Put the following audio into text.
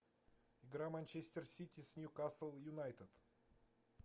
игра манчестер сити с ньюкасл юнайтед